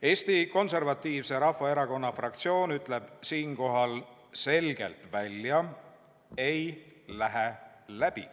Eesti Konservatiivse Rahvaerakonna fraktsioon ütleb siinkohal selgelt välja: ei lähe läbi.